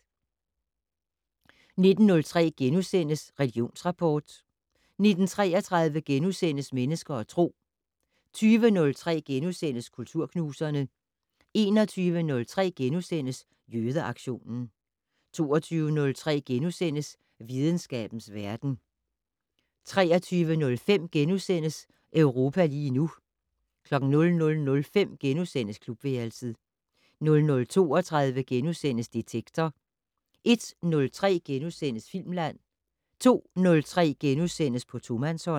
19:03: Religionsrapport * 19:33: Mennesker og Tro * 20:03: Kulturknuserne * 21:03: Jødeaktionen * 22:03: Videnskabens verden * 23:05: Europa lige nu * 00:05: Klubværelset * 00:32: Detektor * 01:03: Filmland * 02:03: På tomandshånd *